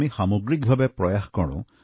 আমি সামগ্ৰিক প্ৰচেষ্টা হাতত লৈছোঁ